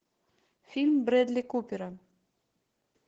фильм брэдли купера